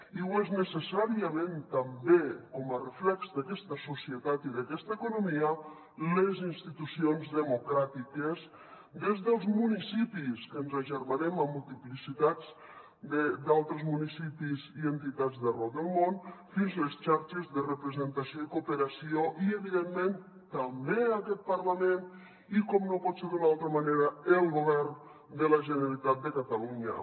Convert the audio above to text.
i ho són necessàriament també com a reflex d’aquesta societat i d’aquesta economia les institucions democràtiques des dels municipis que ens agermanem amb multiplicitat d’altres municipis i entitats d’arreu del món fins a les xarxes de representació i cooperació i evidentment també aquest parlament i com no pot ser d’una altra manera el govern de la generalitat de catalunya